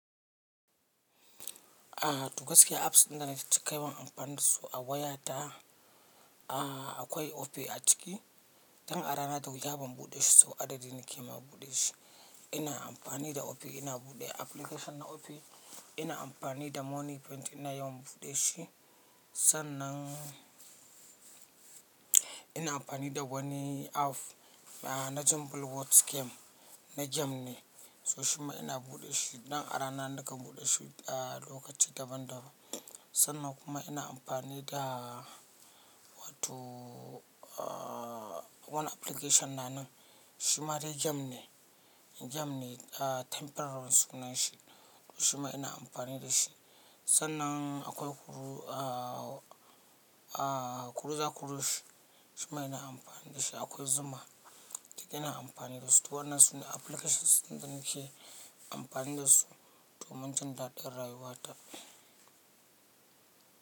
Aha duk gaskiya apps ɗin da na ci kai ba amfanin su a wayata a akwai Opay a ciki. Dan a rana da wuya ban buɗe shi ba sau adadi nake ma buɗe shi. Ina amfani da Opay ina buɗe application na Opay. Ina amfani da Money Paint ina yawan buɗe shi. Sannan ina amfani da wani app na Jumble words game na game ne. To shi kuma ina buɗe shi. Dan a rana nakan buɗe shi a lokaci daban daban. Sannan kuma ina amfani da wato a wani application na nan shima dai game ne. Game ne a temporary sunan shi sosai kuma ina amfani da shi. Sannan akwai Kuru a Akuruza kurush shi shima ina amfani da shi. Akwai Zuma ciki duk ina amfani da su. To wannan sune applications da nake amfani da su domin jan daɗin rayuwa ta.